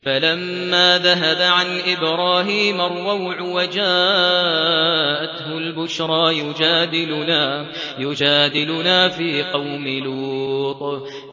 فَلَمَّا ذَهَبَ عَنْ إِبْرَاهِيمَ الرَّوْعُ وَجَاءَتْهُ الْبُشْرَىٰ يُجَادِلُنَا فِي قَوْمِ لُوطٍ